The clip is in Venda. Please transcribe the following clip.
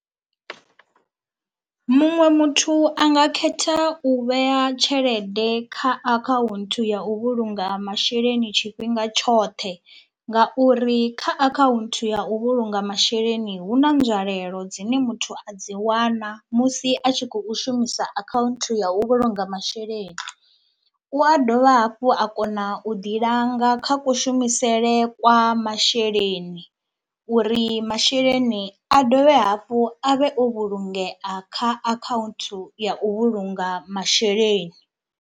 Muṅwe muthu a nga khetha u vhea tshelede kha akhaunthu ya u vhulunga masheleni tshifhinga tshoṱhe ngauri kha akhaunthu ya u vhulunga masheleni hu na nzwalelo dzine muthu a dzi wana musi a tshi khou shumisa akhaunthu ya u vhulunga masheleni, u a dovha hafhu a kona u ḓi langa kha kushumisele kwa masheleni uri masheleni a dovhe hafhu a vhe o vhulungea kha akhaunthu ya u vhulunga masheleni.